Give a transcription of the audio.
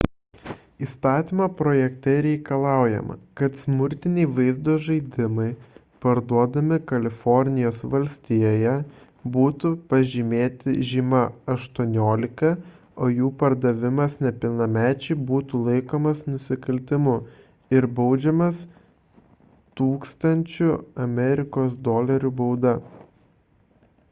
įstatymo projekte reikalaujama kad smurtiniai vaizdo žaidimai parduodami kalifornijos valstijoje būtų pažymėti žyma 18 o jų pardavimas nepilnamečiui būtų laikomas nusikaltimu ir baudžiamas 1000 jav dol bauda